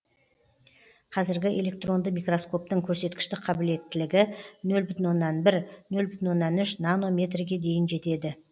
қазіргі электронды микроскоптың көрсеткіштік қабілеттілігі нөл бүтін оннан бір нөл бүтін оннан үш нанометрге дейін жетеді